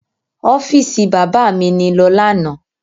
Ọ́fíìsì bàbá mi ni lọ lánàá.